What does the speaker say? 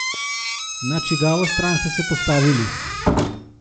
Na čigavo stran ste se postavili?